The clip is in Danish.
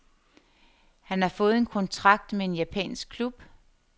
Han har fået en kontrakt med en japansk klub.